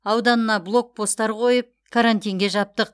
ауданына блок посттар қойып карантинге жаптық